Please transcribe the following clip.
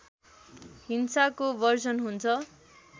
हिंसाको वर्जन हुन्छ